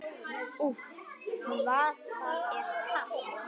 Úff, hvað það er kalt!